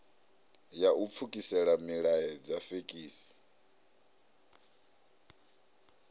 ya u pfukisela milaedza fekisi